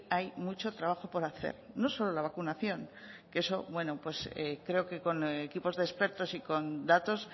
hay mucho trabajo por hacer no solo la vacunación que eso bueno creo que con equipos de expertos y con datos